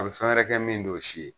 A bɛ fɛn wɛrɛ kɛ min t'o si ye.